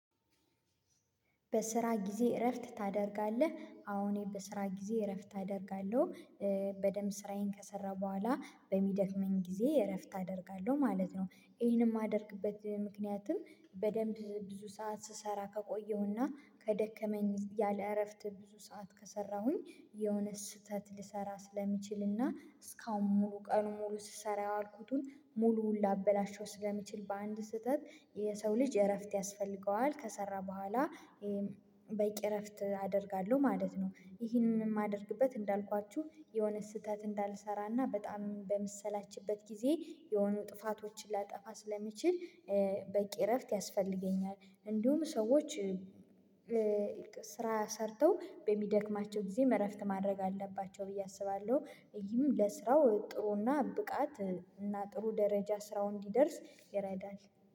በስራ ጊዜ እረፍት ታደርጋለህ? አሁን በስራ ጊዜ እረፍት ታደርጋለሁ። በደንብ ስራዬን ከሰራሁ በኋላ በሚደክመኝ ጊዜ እረፍት አደርጋለሁ ማለት ነው። ይሄንም የማደርግበት ምክንያትም በደንብ ብዙ ሰዓት ስሰራ ከቆየሁና ከደከመኝ ያለ እረፍት ብዙ ሰዓት ከሰራሁኝ የሆነ ስህተት ልሰራ ስለሚችልና እስካሁን ሙሉ ቀን ሙሉ ስሰራ ያዋልኩትን ሙሉውን ላበላሸው ስለሚችል በአንድ ስህተት። የሰው ልጅ እረፍት ያስፈልገዋል ከሰራ በኋላ። በቂ እረፍት አደርጋለሁ ማለት ነው። ይህንን የማደርግበት እንዳልኳችሁ የሆነ ስህተት እንዳልሰራና በጣም በመሰላችበት ጊዜ የሆኑ ጥፋቶችን ላጠፋ ስለሚችል። በቂ እረፍት ያስፈልገኛል እንዲሁም ሰዎች። ስራ ሰርተው በሚደክማቸው ጊዜ እረፍት ማድረግ አለባቸው ብዬ አስባለሁ ይሄም ለስራው ጥሩና ብቃት እና ጥሩ ደረጃ ስራው እንዲደርስ ይረዳል።